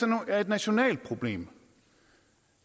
er et nationalt problem